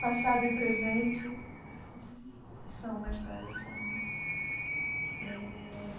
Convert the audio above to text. Passado e presente são uma história só né uhum eh.